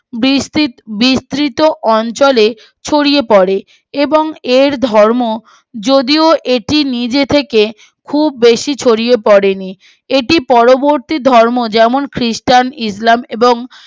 বীর বর্ষিত অঞ্চলে ছড়িয়ে পড়ে এবং এর ধর্ম যদিও এটি নিজে থেকে খুব বেশি ছড়িয়ে পড়ে নি এটি পরবর্তী ধর্ম যেমন খ্রিষ্টান ইসলাম এবং